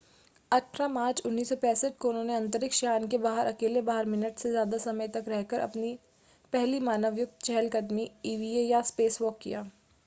18 March 1965 को उन्होंने अंतरिक्ष यान के बाहर अकेले बारह मिनट से ज़्यादा समय तक रहकर पहली मानवयुक्त चहलकदमी ईवीए या स्पेसवॉक” किया